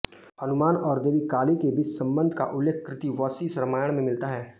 हनुमान और देवी काली के बीच संबंध का उल्लेख कृतिवसी रामायण में मिलता है